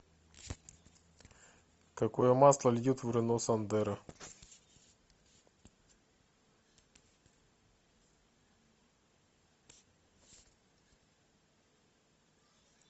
какое масло льют в рено сандеро